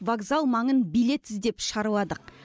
вокзал маңын билет іздеп шарладық